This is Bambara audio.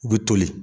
U bɛ toli